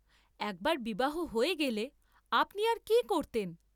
একবার বিবাহ হয়ে গেলে আপনি আর কি করতেন?